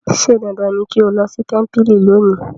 ṣe dandan ní kín ló sí tẹmpili lónì.